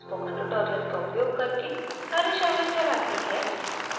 spoken tutorials का उपयोग करके करशालाएं चलाती है